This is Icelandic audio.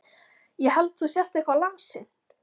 Ég held þú sért eitthvað lasinn.